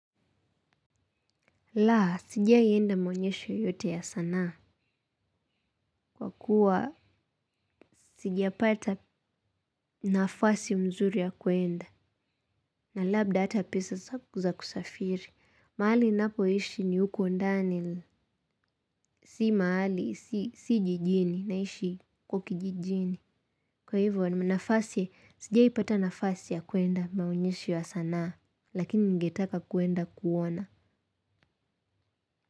Laa, sijai enda maonyesho yoyote ya sanaa. Kwa kuwa, sijapata nafasi mzuri ya kuenda. Na labda hata pesa za kusafiri. Maali napoishi ni huko ndani. Si maali, si jijini. Naishi kwa kijijini. Kwa hivyo, nafasi, sijai pata nafasi ya kuenda maonyesho ya sanaa. Lakini ningetaka kuenda kuona.